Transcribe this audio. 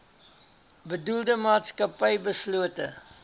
bedoelde maatskappy beslote